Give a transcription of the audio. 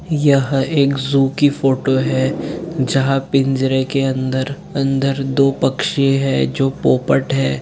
यह एक ज़ू की फोटो है जहाँ पिंजरे के अंदर- अंदर दो पक्षी है जो पोपट है।